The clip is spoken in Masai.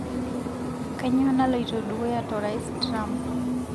kainyio naloito dukuya torais trump